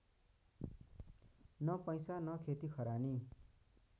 न पैसा न खेतीखरानी